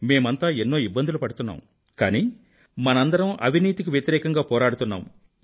మేమంతా ఎన్నో ఇబ్బందులు పడుతున్నాము కానీ మనందరం అవినీతికి వ్యతిరేకంగా పోరాడుతున్నాము